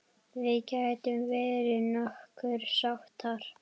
Við getum verið nokkuð sáttar.